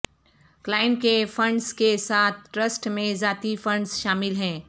client کے funds کے ساتھ ٹرسٹ میں ذاتی فنڈز شامل ہیں